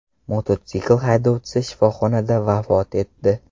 Mototsikl haydovchisi shifoxonada vafot etdi.